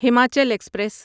Himachal express